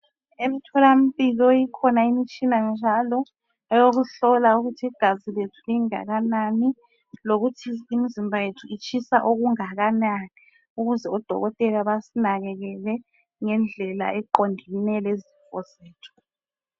Emtholampilo ikhona imitshina njalo eyokuhlola ukuthi igazi lethu lingakanani lokuthi imizimba yethu itshisa okungakanani ukuze odokotela basinakekele ngendlela eqondene lezifo zethu.